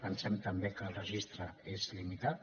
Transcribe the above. pensem també que el registre és limitat